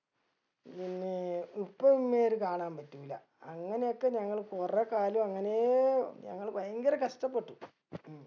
പിന്നെ ഉപ്പ ഉമ്മേം അത് കാണാൻ പറ്റൂല്ല അങ്ങനൊക്കെ ഞങ്ങള് കുറേ കാലു അങ്ങനേ ഞങ്ങള് ഭയങ്കര കഷ്ട്ടപെട്ടു